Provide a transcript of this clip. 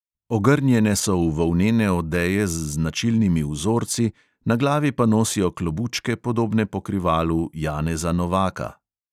Ogrnjene so v volnene odeje z značilnimi vzorci, na glavi pa nosijo klobučke, podobne pokrivalu janeza novaka.